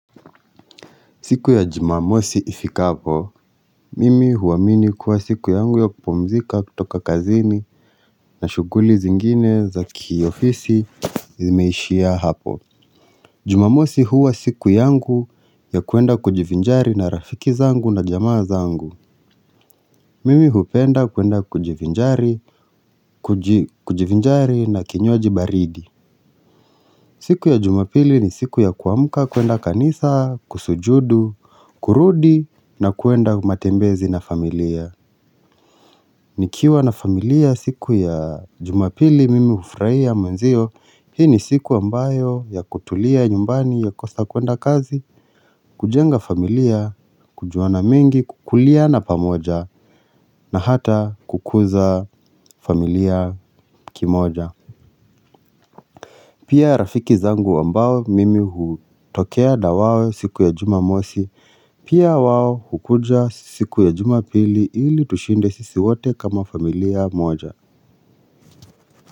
Siku ya jumamosi ifika hapo, mimi huwamini kuwa siku yangu ya kupumzika kutoka kazini na shuguli zingine za kiofisi zimeishia hapo. Jumamosi huwa siku yangu ya kuenda kujivijali na rafiki zangu na jamaa zangu. Mimi hupenda kuenda kujivinjari na kinywaji baridi. Siku ya jumapili ni siku ya kuamuka kuenda kanisa, kusujudu, kurudi na kuenda matembezi na familia. Nikiwa na familia siku ya jumapili mimi ufurahia mwenzio, hii ni siku ambayo ya kutulia nyumbani ya kukosa kwenda kazi, kujenga familia, kujuana mingi, kukulia na pamoja na hata kukuza familia kimoja. Pia rafiki zangu ambao mimi hutokea na wao siku ya jumamosi, pia wao hukuja siku ya jumapili ili tushinde sisi wato kama familia moja.